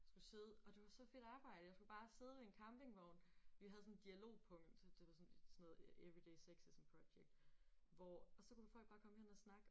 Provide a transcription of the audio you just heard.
Skulle sidde og det var så fedt arbejde jeg skulle bare sidde ved en campingvogn vi havde sådan et dialogpunkt det var sådan sådan noget every day sexism project hvor og så kunne folk bare komme hen og snakke